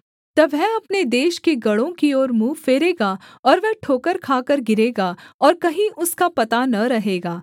तब वह अपने देश के गढ़ों की ओर मुँह फेरेगा और वह ठोकर खाकर गिरेगा और कहीं उसका पता न रहेगा